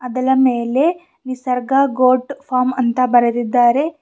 ಅದಲ ಮೇಲೆ Nisarga goat farm ಅಂತ ಬರೆದಿದ್ದಾರೆ.